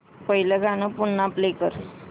पहिलं गाणं पुन्हा प्ले कर